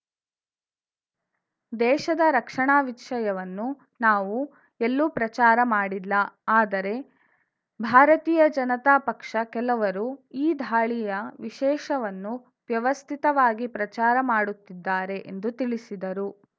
ದೇಶದ ರಕ್ಷಣಾ ವಿಷಯವನ್ನು ನಾವು ಎಲ್ಲೂ ಪ್ರಚಾರ ಮಾಡಿಲ್ಲ ಆದರೆ ಭಾರತೀಯ ಜನತಾ ಪಕ್ಷ ಕೆಲವರು ಈ ಧಾಳಿಯ ವಿಷಯವನ್ನು ವ್ಯವಸ್ಥಿತವಾಗಿ ಪ್ರಚಾರ ಮಾಡುತ್ತಿದ್ದಾರೆ ಎಂದು ತಿಳಿಸಿದರು